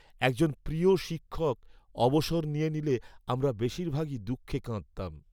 একজন প্রিয় শিক্ষক অবসর নিয়ে নিলে আমরা বেশীরভাগই দুঃখে কাঁদতাম।